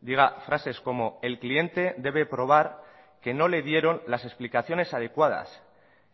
diga frases como el cliente debe probar que no le dieron las explicaciones adecuadas